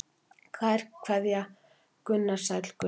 Kær kveðja Gunnar Sæll Gunnar.